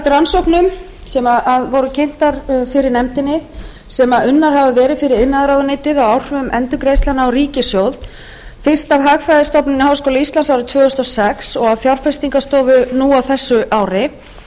rannsóknum sem unnar hafa verið fyrir iðnaðarráðuneytið á áhrifum endurgreiðslnanna á ríkissjóð fyrst af hagfræðistofnun háskóla íslands árið tvö þúsund og sex og af fjárfestingarstofu nú á þessu ári